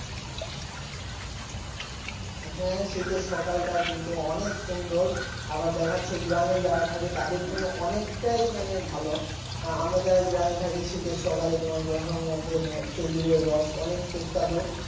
হ্যাঁ শীতের সকালটা কিন্তু অনেক সুন্দর আবার দেখা যাচ্ছে গ্রামে যারা থাকে তাদের জন্য অনেকটাই মানে ভালো আমরা যারা গ্রামে থাকি শীতের সকালে তোমার কুয়াশার মধ্যে খেজুরের রস অনেক সুস্বাদু